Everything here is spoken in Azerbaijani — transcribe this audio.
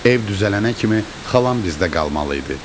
Ev düzələnə kimi xalam bizdə qalmalı idi.